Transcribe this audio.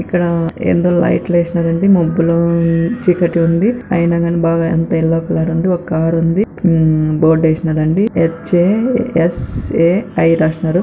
ఇక్కడ రెండు లైట్లు వేసినారు వేసినారండి మబ్బులు చీకటి ఉంది. అయినా బాగా ఎంతో ఎల్లో కార్ ఉంది ఒ కార్ ఉంది బోడేసి నారండి హెచ్_ఏ_ఎస్_ఏ_ఐ రాసినారు